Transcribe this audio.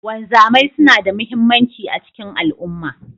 Wanzamai suna da muhimmanci a cikin al'umma.